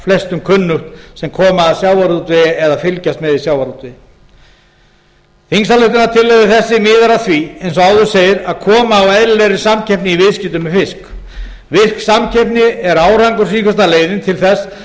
flestum kunnugt sem koma að sjávarútvegi eða fylgjast með í sjávarútvegi þingsályktunartillaga þessi miðar að því eins og áður segir að koma á eðlilegri samkeppni í viðskiptum með fisk virk samkeppni er árangursríkasta leiðin til þess að